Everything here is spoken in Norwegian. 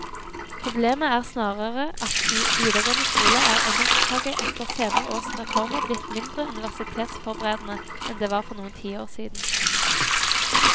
Problemet er snarere at i videregående skole er engelskfaget etter senere års reformer blitt mindre universitetsforberedende enn det var for noen tiår siden.